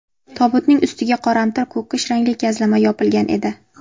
Tobutning ustiga qoramtir ko‘kish rangli gazlama yopilgan edi.